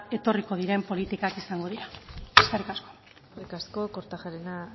etorriko diren politikak izango dira eskerrik asko eskerrik asko kortajarena